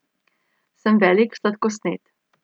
Sem velik sladkosned.